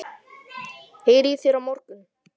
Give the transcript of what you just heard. Heyri í þér á morgun.